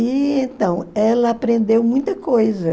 E, então, ela aprendeu muita coisa.